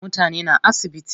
Mutane na asibiti.